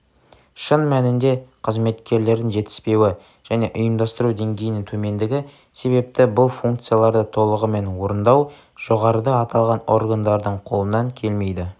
шын мәнінде қызметкерлердің жетіспеуі және ұйымдастыру деңгейінің төмендігі себепті бұл функцияларды толығымен орындау жоғарыда аталған органдардың қолынан келмейді